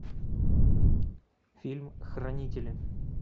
фильм хранители